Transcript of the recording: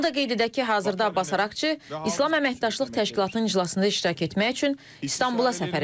Onu da qeyd edək ki, hazırda Abbas Əraqçı İslam Əməkdaşlıq Təşkilatının iclasında iştirak etmək üçün İstanbula səfər edib.